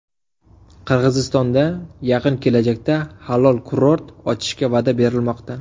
Qirg‘izistonda yaqin kelajakda halol kurort ochishga va’da berilmoqda.